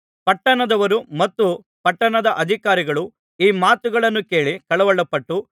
ಪಟ್ಟಣದವರು ಮತ್ತು ಪಟ್ಟಣದ ಅಧಿಕಾರಿಗಳು ಈ ಮಾತುಗಳನ್ನು ಕೇಳಿ ಕಳವಳಪಟ್ಟು